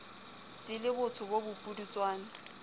di le botsho bo bopudutswana